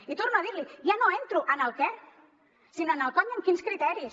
i torno a dir l’hi ja no entro en el què sinó en el com i amb quins criteris